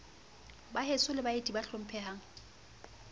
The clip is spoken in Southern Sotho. baheso le baeti ba hlomphehang